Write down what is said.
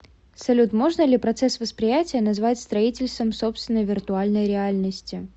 салют можно ли процесс восприятия назвать строительством собственной виртуальной реальности